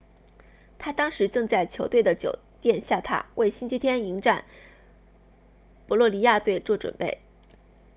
他当时正在球队的酒店下榻为星期天迎战博洛尼亚队做准备